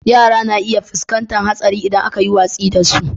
Yara na iya fuskantar haɗari idan aka yi watsi da su.